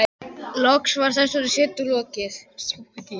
Loks var þessari setu lokið.